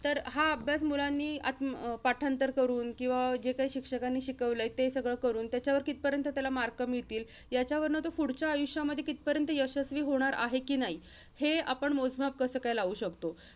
तर हा अभ्यास मुलांनी अं पाठांतर करून, किंवा जे काही शिक्षकांनी शिकवलंय ते सगळं करून, त्याच्यावर कितपर्यंत त्याला mark मिळतील? याच्यावरनं तो, पुढच्या आयुष्यामध्ये कितपर्यंत यशस्वी होणार आहे कि नाही हे आपण मोजमाप कसंकाय लावू शकतो?